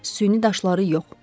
Süni daşları yox.